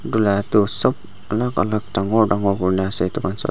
edu la toh sop alak alak dangor dangor kurina ase.